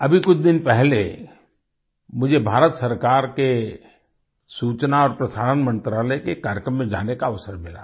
अभी कुछ दिन पहले मुझे भारत सरकार के सूचना और प्रसारण मंत्रालय के कार्यक्रम में जाने का अवसर मिला